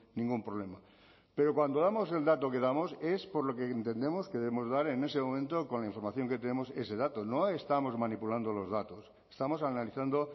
ningún problema pero cuando damos el dato que damos es por lo que entendemos que debemos dar en ese momento con la información que tenemos ese dato no estamos manipulando los datos estamos analizando